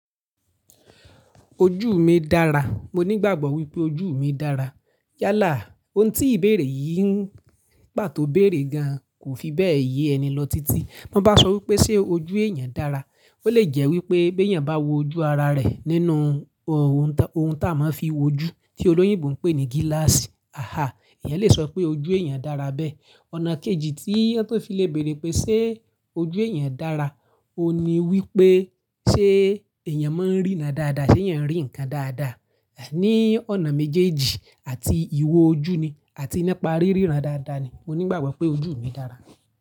Ojú mi dára. Mo nígbàgbọ́ wípé ojú mi dára. Yálà, ohun tí ìbéèrè yìí ń pàtó béèrè gan kò fi bẹ́ẹ̀ yé ẹni lọ títí. Bí wọ́n bá sọ wípé ṣé ojú èèyàn dára, ó lè jẹ́ wípé bí èèyàn bá wo ojú ara rẹ̀ nínú ohùn, ohun tá a máa ń fi wo ojú tí olóyìnbo ń pè ní gíláàsì. Aha! Ẹ̀yàn lè sọ pé ojú èèyàn dára bẹ́ẹ̀. Ọ̀nà kejì tí ẹni tó fi le béèrè pé ṣé ojú èèyàn dára, òun ni wípé ṣé èèyàn máa ń ríran dáadáa? Ṣé èèyàn rí nǹkan dáadáa? Ẹ̀ ní ọ̀nà méjèèjì àti ìwo ojú ni àti nípa ríran dáadáa ni. Mo nígbàgbọ́ pé ojú mi dára.